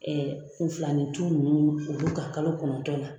kunfilanintu ninnu olu nunnu olu ka kalo kɔnɔntɔn na